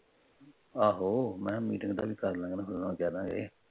ਆਹੋ ਮੈ ਕਿਹਾ Metting ਦਾ ਵੀ ਕਰ ਲਾਂਗੇ ਉਹਨਾਂ ਵਿਚਾਰਿਆ ਦਾ।